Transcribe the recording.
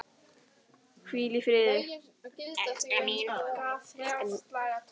Hvíl í friði, elskan mín.